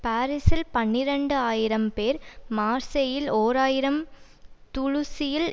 பாரிஸில் பனிரண்டு ஆயிரம் பேர் மார்சேயில் ஓர் ஆயிரம் துலூஸில்